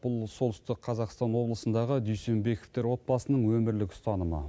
бұл солтүстік қазақстан облысындағы дүйсенбековтер отбасының өмірлік ұстанымы